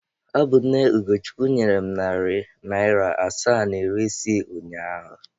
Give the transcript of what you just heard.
Ọ bụ nne Ugochukwu nyere m narị naịra asaa na iri isii ụnyaahụ.